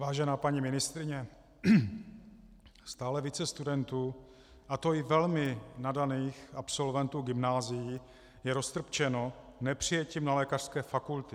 Vážená paní ministryně, stále více studentů, a to i velmi nadaných absolventů gymnázií, je roztrpčeno nepřijetím na lékařské fakulty.